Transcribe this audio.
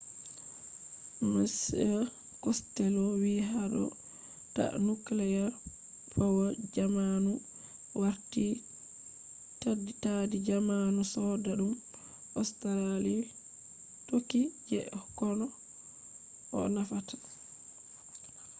mr costello vi hado ta nuclear power jammanu warti taddi jamanu sodadum australia tokki je koh nafata